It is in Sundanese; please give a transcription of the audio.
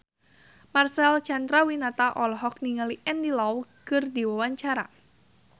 Marcel Chandrawinata olohok ningali Andy Lau keur diwawancara